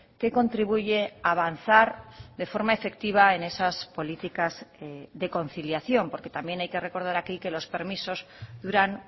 que contribuye a avanzar de forma efectiva en esas políticas de conciliación porque también hay que recordar aquí que los permisos duran